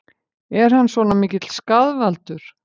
Er hann svona mikill skaðvaldur?